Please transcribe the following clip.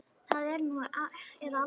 Það er nú eða aldrei.